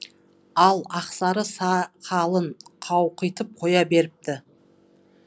ол ақсары сақалын қауқитып қоя беріпті